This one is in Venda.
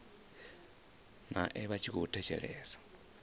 nae vha tshi khou thetshelesa